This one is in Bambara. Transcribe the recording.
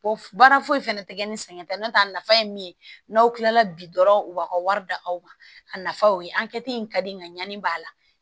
Bɔ baara foyi fɛnɛ tɛ kɛ ni sɛgɛn ta n'o tɛ a nafa ye min ye n'aw kilala bi dɔrɔn u b'a ka wari da aw ma a nafaw ye an kɛ ten ka di nga ɲani b'a la